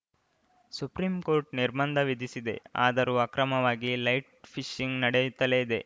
supreme court ನಿರ್ಬಂಧ ವಿಧಿಸಿದೆ ಆದರೂ ಅಕ್ರಮವಾಗಿ ಲೈಟ್‌ ಫಿಶಿಂಗ್‌ ನಡೆಯುತ್ತಲೇ ಇದೆ